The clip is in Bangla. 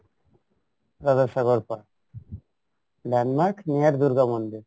landmark near দূর্গা মন্দির